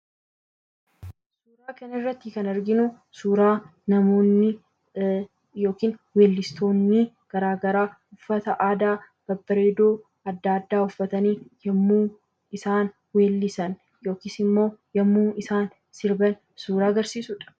Suuraa kanarratti kan arginu, suuraa namoonni yookiin weellistoonni garaagaraa uffata aadaa babbareedoo addaa addaa uffatani yemmuu isaan weellisan yookiis immoo yemmuu isaan sirban kan agarsiisuudha.